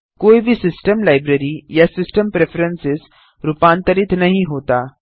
कोई भी system library या सिस्टम प्रेफरेंस रूपांतरित नहीं होता